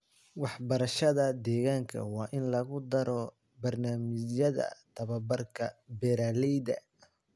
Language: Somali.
Waxbarashada deegaanka waa in lagu daro barnaamijyada tababarka beeraleyda.